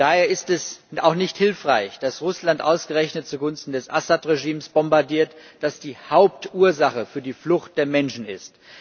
Daher ist es auch nicht hilfreich, dass Russland ausgerechnet zugunsten des Assad Regimes bombardiert, das die Hauptursache für die Flucht der Menschen ist.